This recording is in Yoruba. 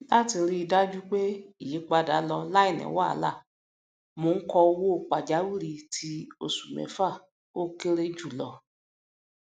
láti ríi dájú pé ìyípadà lọ láìní wàhálà mo ń kọ owó pàjáwìrì ti oṣù mẹfà ókéré jù jọ